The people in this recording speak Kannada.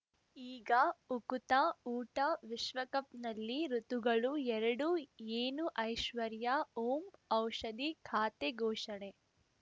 ಈಗ ಉಕುತ ಊಟ ವಿಶ್ವಕಪ್‌ನಲ್ಲಿ ಋತುಗಳು ಎರಡು ಏನು ಐಶ್ವರ್ಯಾ ಓಂ ಔಷಧಿ ಖಾತೆ ಘೋಷಣೆ